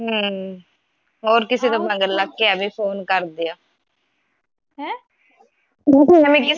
ਹਮ ਹੋਰ ਕਿਸੇ ਦੇ ਮਗਰ ਲੱਗ ਕੇ ਐਵੇ ਫੋਨ ਕਰਦੀਆਂ